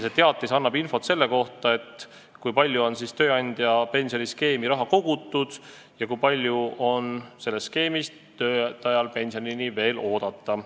See annab infot selle kohta, kui palju on tööandja pensioniskeemi raha kogutud ja kui palju on sellest skeemist töötajal pensioni oodata.